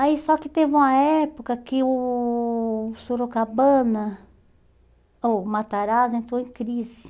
Aí só que teve uma época que o Sorocabana, ou Matarazzo, entrou em crise.